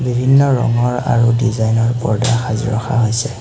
বিভিন্ন ৰঙৰ আৰু ডিজাইনৰ পৰ্দা সাজি ৰখা হৈছে।